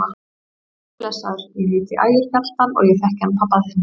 Komdu blessaður, ég heiti Ægir Fjalldal og ég þekki hann pabba þinn!